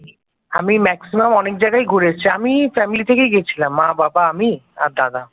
আমি ম্যাক্সিমাম অনেক জায়গায় ঘুরে এসেছি আমি ফ্যামিলি থেকেই গেছিলাম মা-বাবা আমি আর দাদা